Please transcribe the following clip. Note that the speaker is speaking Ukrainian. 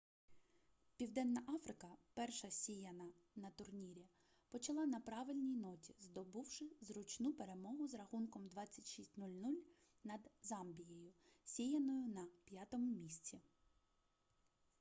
південна африка перша сіяна на турнірі почала на правильній ноті здобувши зручну перемогу з рахунком 26 - 00 над замбією сіяною на 5-му місці